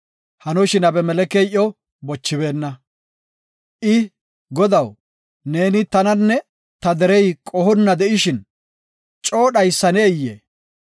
Hanoshin, Abimelekey iyo bochibeenna. I, “Godaw, neeni tananne ta derey qohonna de7ishin coo dhaysaneyee?